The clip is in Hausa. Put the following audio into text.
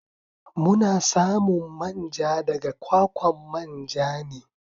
Muna samun manja daga kwakwan manja ne.